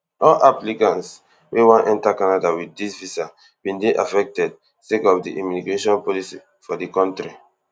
all applicants wey wan enta canada wit dis visa bin dey affected sake of di immigration policy for di kontri